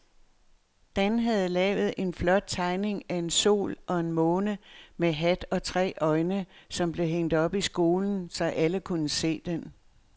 Dan havde lavet en flot tegning af en sol og en måne med hat og tre øjne, som blev hængt op i skolen, så alle kunne se den.